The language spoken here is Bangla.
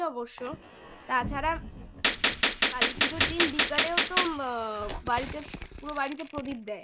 তাছাড়া কালীপুজোর দিন বিকালেও তো বাড়িতে পুরো বাড়িতে প্রদীপ দেয়